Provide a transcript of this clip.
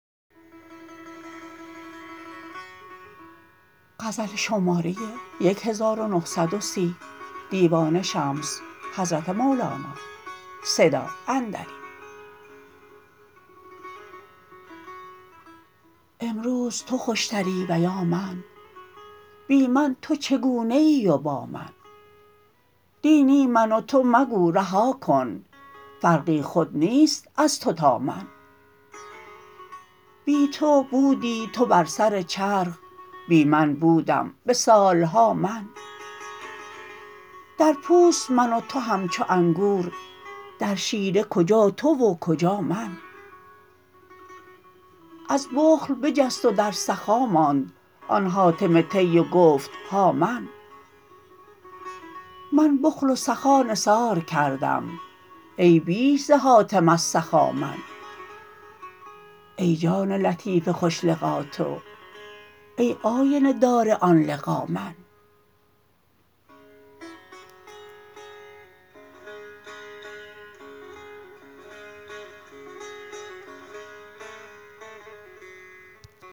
امروز تو خوشتری و یا من بی من تو چگونه ای و با من نی نی من و تو مگو رها کن فرقی خود نیست از تو تا من بی تو بودی تو بر سر چرخ بی من بودم به سال ها من در پوست من و تو همچو انگور در شیره کجا تو و کجا من از بخل بجست و در سخا ماند آن حاتم طی و گفت ها من من بخل و سخا نثار کردم ای بیش ز حاتم از سخا من ای جان لطیف خوش لقا تو ای آینه دار آن لقا من